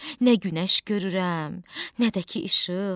Nə günəş görürəm, nə də ki işıq.